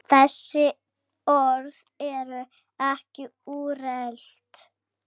Þessi orð eru ekki úrelt.